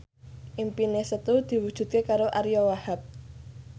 impine Setu diwujudke karo Ariyo Wahab